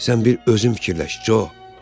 Sən bir özün fikirləş, Co.